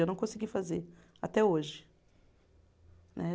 Eu não consegui fazer até hoje. Né